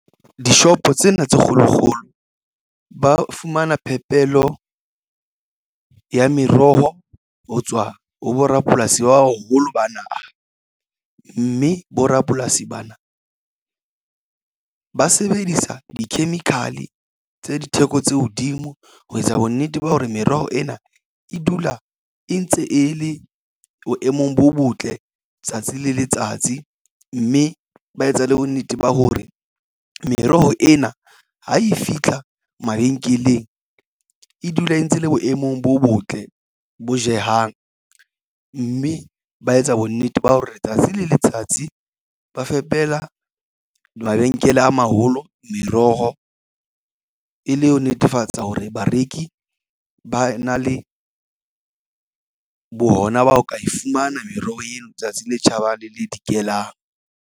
Dishopo tsena tse kgolo kgolo ba fumana phepelo ya meroho ho tswa ho borapolasi ba boholo ba naha mme borapolasi bana ba sebedisa di-chemical tse ditheko tse hodimo ho etsa bonnete ba hore meroho ena e dula e ntse e le boemong bo botle tsatsi le letsatsi mme ba etsa le bonnete ba hore meroho ena ha e fitlha mabenkeleng e dula e ntse le boemong bo botle bo jehang mme ba etsa bonnete ba hore letsatsi le letsatsi ba fepela mabenkele a maholo meroho e le ho netefatsa hore bareki ba na le bo hona ho ka e fumana meroho ena tsatsi le tjhabang le le dikelang.